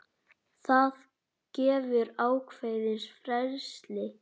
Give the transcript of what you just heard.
Það gefur ákveðið frelsi.